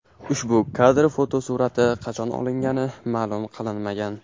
Ushbu kadr fotosurati qachon olingani ma’lum qilinmagan.